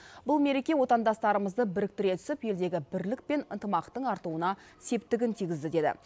бұл мереке отандастарымызды біріктіре түсіп елдегі бірлік пен ынтымақтың артуына септігін тигізді деді